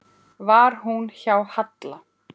Var hún hjá Halla?